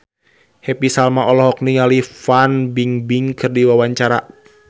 Happy Salma olohok ningali Fan Bingbing keur diwawancara